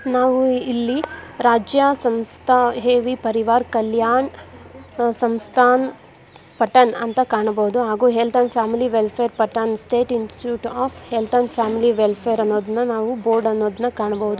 ನಾವು ಇಲ್ಲಿ ರಾಜ್ಯ ಸಂಸ್ಥ ಏವಿ ಪರಿವರ್ ಕಲ್ಯಾಣ ಸಂಸ್ಥಾನ್ ಪಟನ್ ಅಂತ ಕಾಣಬಹುದು ಹಾಗೂ health and family welfare Patna state institute of health and family welfare ಅನ್ನೋದನ್ ಬೋರ್ಡ್ ಅನ್ನೋದ್ನ ಕಾಣಬಹುದು.